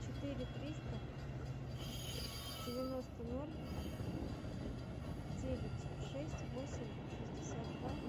четыре триста девяносто ноль девять шесть восемь шестьдесят два